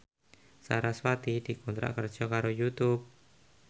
sarasvati dikontrak kerja karo Youtube